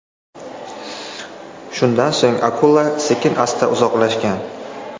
Shundan so‘ng akula sekin-asta uzoqlashgan.